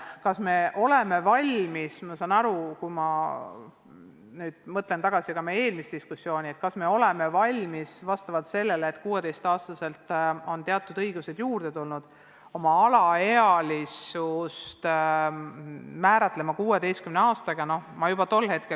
Kas me oleme valmis – ma mõtlen seda küsides tagasi ka meie eelmisele diskussioonile – sel põhjusel, et 16-aastastele on teatud õigused juurde tulnud, alaealisuse piiritlema 16 aastaga?